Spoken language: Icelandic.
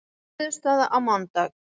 Niðurstaða á mánudag